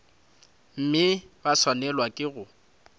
mme ba swanelwa ke go